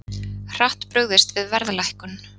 Hratt brugðist við verðlækkun